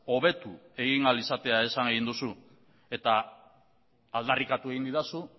hobetu egin ahal izatea esan egin duzu eta aldarrikatu egin didazu